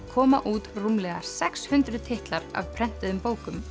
komu út rúmlega sex hundruð titlar af prentuðum bókum